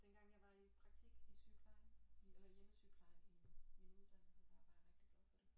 Dengang jeg var i praktik i sygeplejen eller i hjemmesygeplejen i min uddannelse da var jeg rigtig glad for det